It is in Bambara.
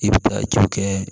I bɛ taa ju kɛ